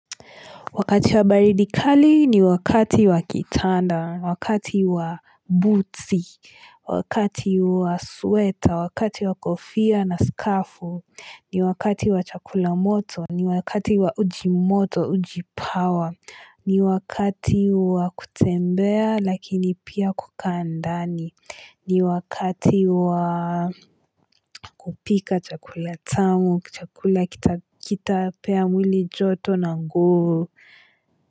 Wakati wa baridi kali ni wakati wa kitanda, wakati wa buti, wakati wa sweta, wakati wa kofia na skafu, ni wakati wa chakula moto, ni wakati wa ujimoto, ujipawa, ni wakati wa kutembea lakini pia kukaa ndani, ni wakati wa kupika chakula tamu, chakula kitapea mwili joto na nguvu.